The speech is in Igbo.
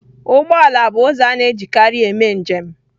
Ụgbọ ala bụ ụzọ a na-ejikarị eme njem